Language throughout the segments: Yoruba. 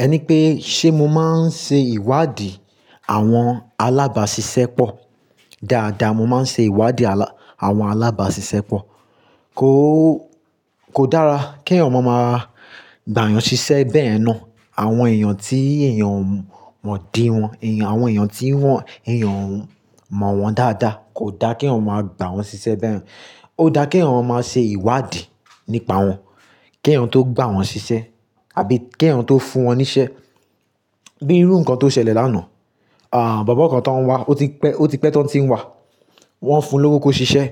Ẹni pé, ṣe mo máa ń ṣe ìwádìí àwọn alábàásisẹ́pọ̀? Dáadáa, mo máa ń ṣe ìwádìí àwọn alábàásisẹ́pọ̀. Kó, kò dára keyan máa ma gbà yàn ṣiṣẹ́ bẹ́yen náà. Àwọn èèyàn tí èèyàn mọ̀ dí wọn, àwọn èèyàn tí wọ́n, èèyàn mọ̀ wọ́n dáadáa kò dá ke yan máa gbà wọ́n ṣiṣẹ́ bẹ́yen. Ó dáa kí eyan máa ma ṣe ìwádìí nípa wọn, kí ẹ̀yàn tó gbà wọ́n ṣiṣẹ́ àbí kí ẹ̀yàn tó fún wọn níṣẹ́. Bíi irú nǹkan tó ṣẹlẹ̀ lánàá, à, bobo kan tan ń wá, ó ti pẹ́, ó ti pẹ́ tán tí ń wá. Wọ́n fún un lówó kó ṣiṣẹ́,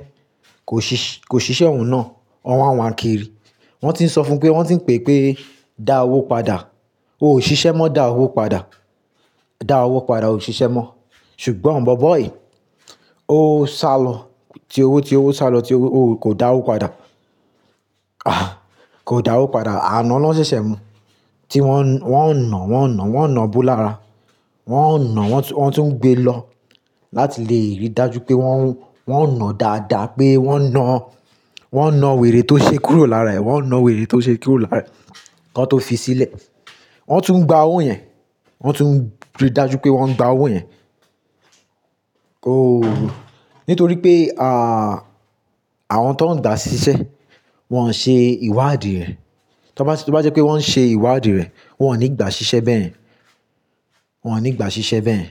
kò ṣiṣẹ́ òun náà. Wọ́n wa n wà kiri. Wọ́n ti ń sọ fún un pé, wọ́n ti ń pè pé, "Da owó padà. O ṣiṣẹ́ mọ́, da owó padà. Da owó padà, ò ṣiṣẹ́ mọ́." Ṣùgbọ́n bobo yìí, ó sálọ, ti owó, ti owó sálọ, ti owó kò dá owó padà. À, kò dá owó padà. Anà lọ́ ṣeṣẹ́ mú. Ti wọ́n, wọ́n ń nà, wọ́n ń nà, wọ́n ń nà bo lára, wọ́n ń nà wọ́n tún ń gbé e lọ láti lè rí i dájú pé wọ́n, wọ́n ń nà dáadáa pé wọ́n na, wọ́n na wèrè tó ṣe kúrò lára ẹ̀. Wọ́n na wèrè tó ṣe kúrò lára ẹ̀ kí wọ́n tó fi sílẹ̀. Wọ́n tún ń gba owó yẹn, wọ́n tún rí i dájú pé wọ́n ń gba owó yẹn. Ó, nítorí pé, à, àwọn tó ń gbà ṣiṣẹ́, wọn ṣe ìwádìí rẹ̀. Tí wọ́n bá jẹ́ pé wọ́n ṣe ìwádìí rẹ̀, wọn ò ní gbà ṣiṣẹ́ bẹ́yẹ̀n. Wọn ní gbà ṣiṣẹ́ bẹ́yẹ̀n.